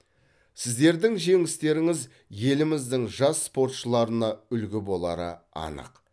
сіздердің жеңістеріңіз еліміздің жас спортшыларына үлгі болары анық